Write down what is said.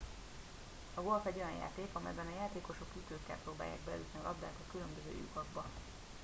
a golf egy olyan játék amelyben a játékosok ütőkkel próbálják beütni a labdát a különböző lyukakba